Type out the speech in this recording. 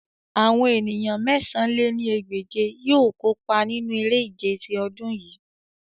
Awọn eniyan mẹ̀sán lé ní ẹgbẹ́je yoo kopa ninu ere-ije ti ọdun yii